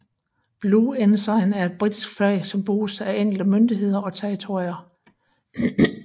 Blue Ensign er et britisk flag som bruges af enkelte myndigheder og territorier